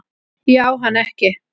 Ég á hana ekki.